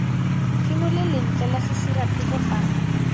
phimole lentle la sesiraphefo fa